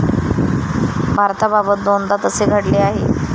भारताबाबत दोनदा तसे घडले आहे.